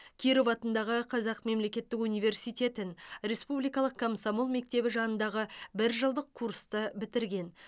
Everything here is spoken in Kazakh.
киров атындағы қазақ мемлекеттік университетін республикалық комсомол мектебі жанындағы бір жылдық курсты бітірген